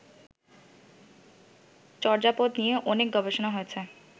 চর্যাপদ নিয়ে অনেক গবেষণা হয়েছে